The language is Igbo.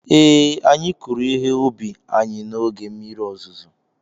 ee, anyị kụrụ ihe ubi anyị n'oge mmiri ozuzo